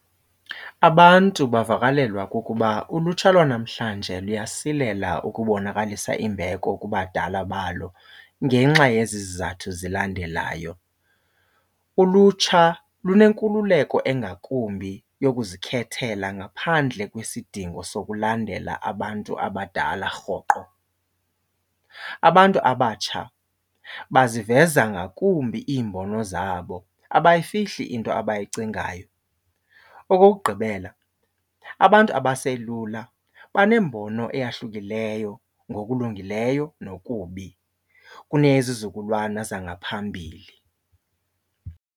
Abantu bavakalelwa kukuba ulutsha lwanamhlanje luyasilela ukubonakalisa imbeko kubadala balo ngenxa yezi zizathu zilandelayo. Ulutsha lunenkululeko engakumbi yokuzikhethela ngaphandle kwesidingo sokulandela abantu abadala rhoqo. Abantu abatsha baziveza ngakumbi iimbono zabo abayifihli into abayicingayo. Okokugqibela abantu abaselula banembono ehlukileyo ngokulungileyo nokubi kunezizukulwana zangaphambili.